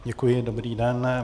Děkuji, dobrý den.